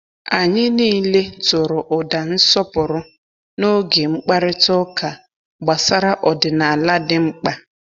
Anyị niile tụrụ ụda nsọpụrụ n’oge mkparịta ụka gbasara ọdịnala dị mkpa.